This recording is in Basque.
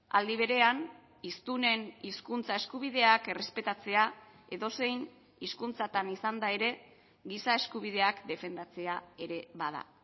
aldi berean hiztunen hizkuntza eskubideak errespetatzea edozein hizkuntzatan izanda ere giza eskubideak defendatzea ere bada